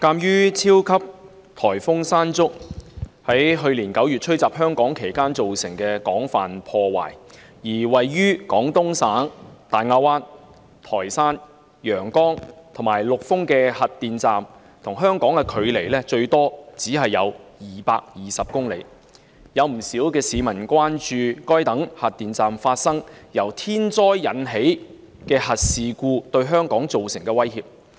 鑒於超強颱風山竹於去年9月吹襲香港期間造成廣泛破壞，而位於廣東省大亞灣、台山、陽江及陸豐的核電站與香港的距離最多只有220公里，有不少市民關注該等核電站發生由天災引致的核事故對香港造成的威脅。